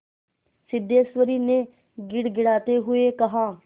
सिद्धेश्वरी ने गिड़गिड़ाते हुए कहा